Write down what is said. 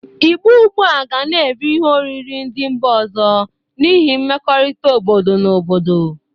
Igbo ọgbụa ga na-eri ihe oriri ndị mba ọzọ n'ihi mmekorita obodo na obodo.